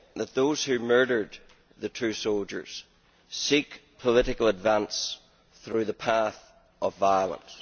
Those who murdered the two soldiers seek political advance through the path of violence.